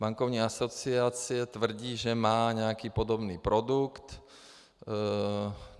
Bankovní asociace tvrdí, že má nějaký podobný produkt.